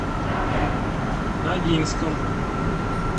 ногинском